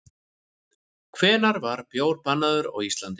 Hvenær var bjór bannaður á Íslandi?